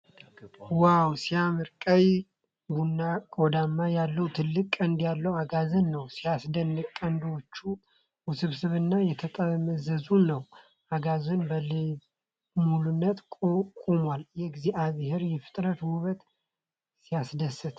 ዋው! ሲያምር! ቀይ ቡናማ ቆዳ ያለው ትልቅ ቀንድ ያለው አጋዘን ነው። ሲያስደንቅ! ቀንዳቸው ውስብስብና የተጠማዘዘ ነው። አጋዘኑ በልበ ሙሉነት ቆሟል። የእግዚአብሔር የፍጥረት ውበት! ሲያስደስት!